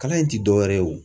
Kalan in ti dɔwɛrɛ ye wo.